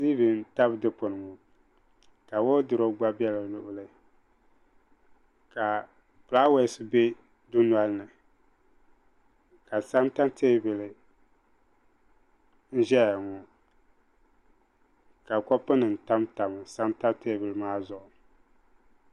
Tee vi n tabi dukpuni ŋɔ ka wodurop gba bɛ di luɣuli ka flawɛs bɛ dunoli ni ka santa tɛɛbuli n zaya ŋɔ ka kopu nima tam tam santa tɛɛbuli maa zuɣu.